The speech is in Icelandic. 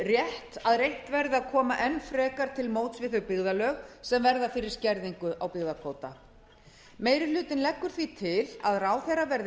rétt að reynt verði að koma enn frekar til móts við þau byggðarlög sem verða fyrir skerðingu á byggðakvóta meiri hlutinn leggur því til að ráðherra verði